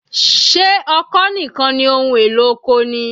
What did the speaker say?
Ṣé ọkọ́ nìkan ni ohun èlò oko ni?